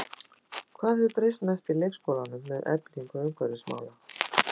Hvað hefur breyst mest í leikskólanum með eflingu umhverfismála?